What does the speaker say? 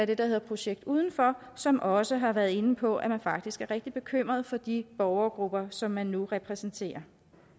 det der hedder projekt udenfor som også har været inde på at man faktisk er rigtig bekymret for de borgergrupper som man nu repræsenterer